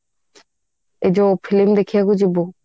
ଏଇ ଯୋଉ film ଦେଖିବାକୁ ଯିବୁ